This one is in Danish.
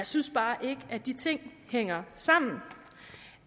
synes bare ikke at de ting hænger sammen